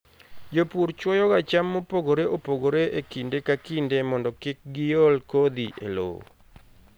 Jopur chwoyoga cham mopogore opogore e kinde ka kinde mondo kik giol kodhi e lowo.